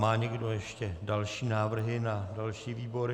Má někdo ještě další návrhy na další výbory?